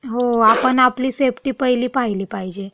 हो. आपण आपली सेफ्टी पहिली पाहिली पाहिजे.